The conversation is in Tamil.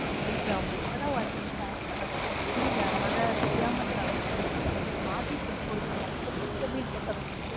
please sir அவங்க இப்ப தான் work க்கு join பண்ணாங்க. so தெரியல அதனாலதான் தெரியாம தவறு நடந்திருச்சு sir உங்களுக்கு மாத்தி food குடுக்கட்டுமா